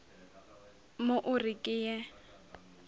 mo o re ke ye